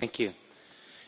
Mr President,